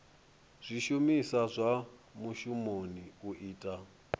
zwishumiswa zwa mushumoni u ita